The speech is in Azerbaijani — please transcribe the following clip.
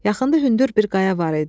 Yaxında hündür bir qaya var idi.